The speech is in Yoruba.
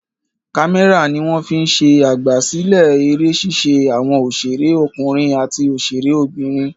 Kámẹ́rà ni wọ́n fi ń ṣe àgbàsílẹ̀ eré ṣíṣe àwọn òṣèré ọkùnrin àti òṣèré obìnrin.